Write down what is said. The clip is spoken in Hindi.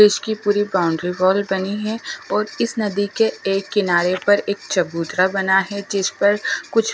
इसकी पूरी बाउंड्री वॉल बनी है और इस नदी के एक किनारे पर एक चबूतरा बना है जिस पर कुछ--